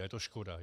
A je to škoda.